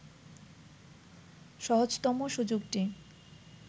সহজতম সুযোগটি